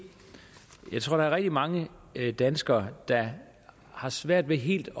jeg tror er rigtig mange danskere der har svært ved helt